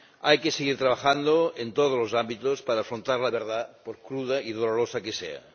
Hay que seguir trabajando en todos los ámbitos para afrontar la verdad, por cruda y dolorosa que sea.